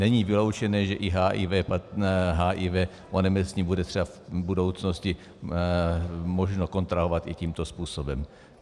Není vyloučené, že i HIV onemocnění bude třeba v budoucnosti možno kontrahovat i tímto způsobem.